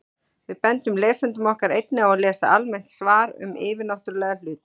Við bendum lesendum okkar einnig á að lesa almennt svar um yfirnáttúrulega hluti.